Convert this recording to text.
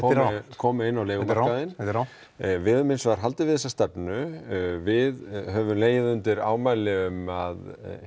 komu inn á leigumarkaðinn þetta er rangt við höfum hins vegar haldið við þessa stefnu við höfum legið undir ámæli um að